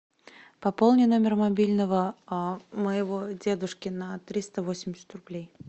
пополни номер мобильного а моего дедушки на триста восемьдесят рублей